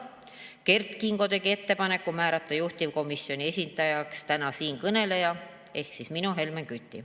Kert Kingo tegi ettepaneku määrata juhtivkomisjoni esindajaks siinkõneleja ehk mina, Helmen Kütt.